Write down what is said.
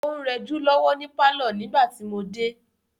ó ń rẹjú lọ́wọ́ ni pálọ̀ nígbà tí mo dé.